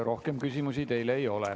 Rohkem küsimusi teile ei ole.